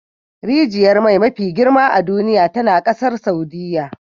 Rijiyar mai mafi girma a duniya tana kasar Saudiyya